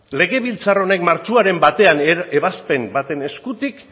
legebiltzar honek martxoaren batean ebazpen baten eskutik